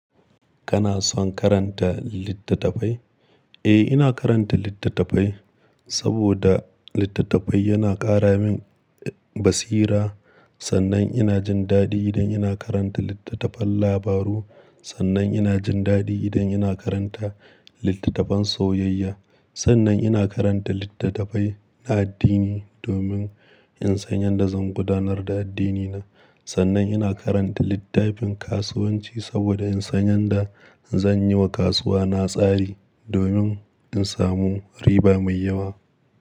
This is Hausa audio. Kana son karanta littattafai? Eh, ina karanta littattafai saboda littattafai yana ƙara min basira. Sannan ina jin daɗi idan ina karanta littattafan labaru. Sannan ina jin daɗi idan ina karanta littattafan soyayya. Sannan ina karanta littattafai na addini domin in san yanda zan gudanar da addinina. Sannan ina karanta littafin kasuwanci saboda in san yanda zan yiwa kasuwa na tsari domin in samu riba mai yawa.